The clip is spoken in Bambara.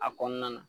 A kɔnɔna na